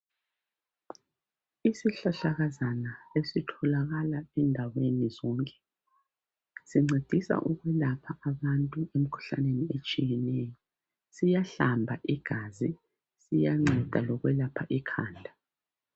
Isihlahlakazana esitholakala endaweni zonke sincedisa ukulapha abantu emikhuhlaneni etshiyeneyo siyahlamba igazi siyanceda lokwelapha ikhanda